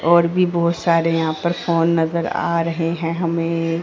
और भी बहोत सारे यहां पर फोन नजर आ रहे हैं हमें--